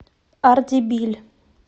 ардебиль